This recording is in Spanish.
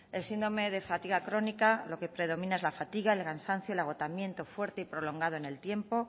el síndrome de fatiga crónica lo que predomina es la fatiga el cansancio el agotamiento fuerte y prolongado en el tiempo